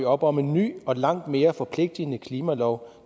op om en ny og langt mere forpligtende klimalov